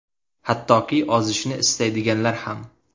Hattoki ozishni istaydiganlar ham.